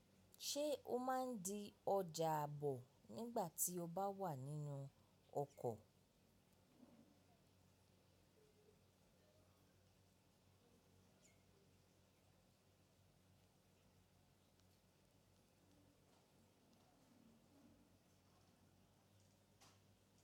Ṣé o máa ń di ọjà àbọ̀ nígbà tí o bá wà nínú ọkọ̀?